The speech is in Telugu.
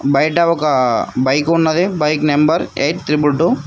బయట ఒక బైక్ ఉన్నది bike number eight triple to